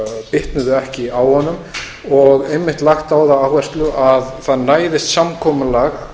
bitnuðu ekki á honum og einmitt lagt á það áherslu að það næðist samkomulag